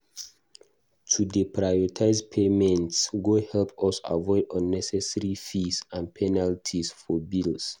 To dey prioritize payments go help us avoid unnecessary fees and penalties for bills.